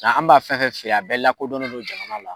Nka an b'a fɛn fɛn feere a bɛɛ lakodɔnnen non jamana la